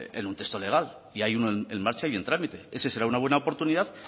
en un texto legal y hay uno en marcha y en trámite ese será una buena oportunidad